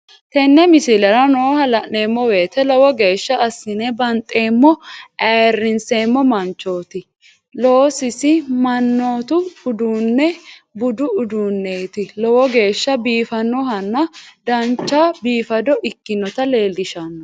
Teene miisilera nooha laanemowete loowo geshshaa asinne baanxemo aayrsemo maanchotti llosu maanati uudununo buudu uudunneti loowo geesha biifanohana daanchoo biifado ekkinota lelshanno.